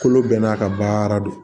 Kolo bɛɛ n'a ka baara de don